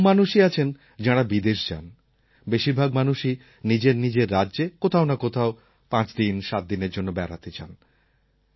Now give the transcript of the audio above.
খুব কম মানুষই আছেন যাঁরা বিদেশ যান বেশির ভাগ মানুষই নিজের নিজের রাজ্যে কোথাও না কোথাও ৫ দিন ৭ দিনের জন্য বেড়াতে যান